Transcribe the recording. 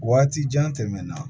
Waati jan tɛmɛna